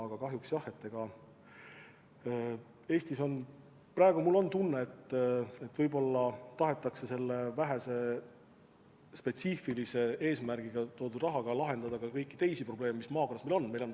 Aga kahjuks praegu mul on tunne, et Eestis võib-olla tahetakse selle vähese spetsiifilise eesmärgiga eraldatud rahaga lahendada ka kõiki teisi probleeme, mis maakonnas on.